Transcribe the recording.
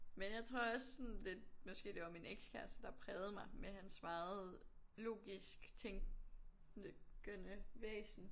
Men jeg tror også sådan det måske det var min ekskæreste der prægde mig med hans meget logisk tænkende væsen